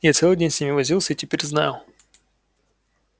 я целый день с ними возился и теперь знаю